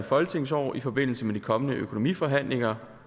folketingsår i forbindelse med de kommende økonomiforhandlinger